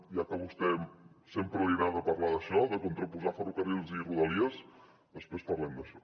ja que a vostè sempre li agrada parlar d’això de contraposar ferrocarrils i rodalies després parlem d’això